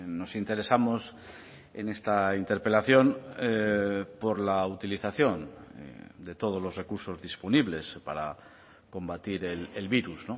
nos interesamos en esta interpelación por la utilización de todos los recursos disponibles para combatir el virus